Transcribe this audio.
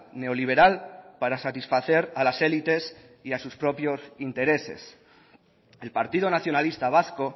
neoliberal para satisfacer a las élites y a sus propios intereses el partido nacionalista vasco